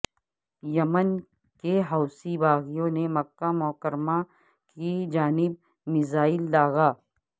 یمن کے حوثی باغیوں نے مکہ مکرمہ کی جانب میزائل داغا